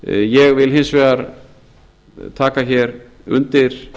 ég vil hins vegar taka undir